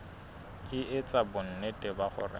e etsa bonnete ba hore